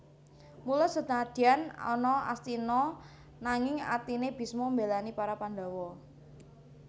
Mula senadyan ana Astina nanging atine Bisma mbelani para Pandhawa